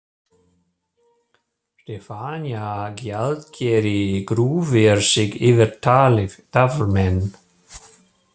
Stefanía gjaldkeri grúfir sig yfir taflmenn.